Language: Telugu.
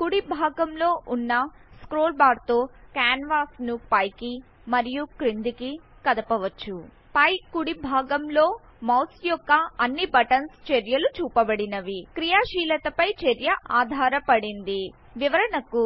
కుడి భాగం లో వున్న స్క్రోల్ బార్ తో కాన్వాస్ ను పై కి మరియి క్రిందికి కదపవచ్చు ఫై కుడి భాగం లో మౌస్ యొక్క అన్ని బటన్స్ చేర్యలు చూపబడినవి క్రియాశీలత ఫై చర్య ఆదారపడింది వివరణకు